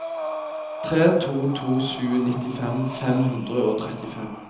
tre to to sju nittifem fem hundre og trettifem